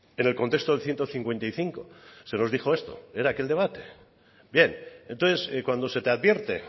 en el contexto del ciento cincuenta y cinco se nos dijo esto era aquel debate bien entonces cuando se te advierte